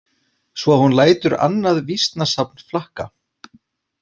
Svo að hún lætur annað vísnasafn flakka.